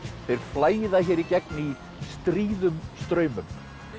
þeir flæða hér í gegn í stríðum straumum